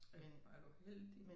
Øv hvor er du heldig